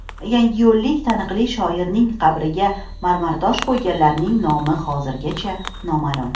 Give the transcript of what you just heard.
Yangiyo‘llik taniqli shoirning qabrga marmartosh qo‘yganlarning nomi hozirgacha noma’lum.